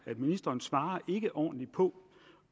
ministeren svarer ikke ordentligt på